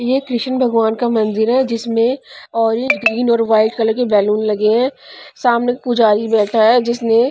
ये कृष्ण भगवान का मंदिर है जिसमें ऑरेंज ग्रीन और वाइट कलर के बैलून लगे हैं सामने पुजारी बैठा है जिसने--